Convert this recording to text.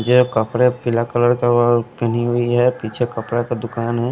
ये कपड़े पीला कलर का वह पहनी हुई है पीछे कपड़ा का दुकान हैं।